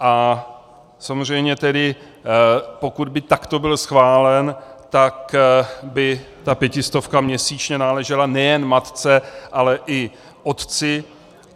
A samozřejmě tedy pokud by takto byl schválen, tak by ta pětistovka měsíčně náležela nejen matce, ale i otci.